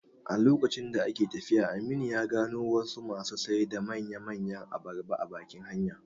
A lokacin da ake tafiyan, Aminu ya gano wasu masu sai da manya manyan abarba a bakin hanya